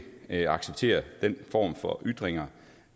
acceptere den form for ytringer